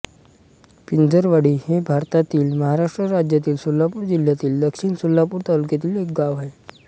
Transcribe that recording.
पिंजरवाडी हे भारतातील महाराष्ट्र राज्यातील सोलापूर जिल्ह्यातील दक्षिण सोलापूर तालुक्यातील एक गाव आहे